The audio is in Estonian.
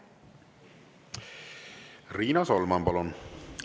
Riina Solman, palun!